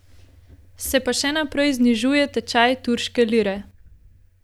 Se pa še naprej znižuje tečaj turške lire.